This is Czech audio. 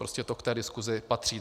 Prostě to k té diskusi patří.